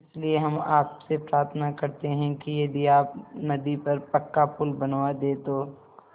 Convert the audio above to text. इसलिए हम आपसे प्रार्थना करते हैं कि यदि आप नदी पर पक्का पुल बनवा दे तो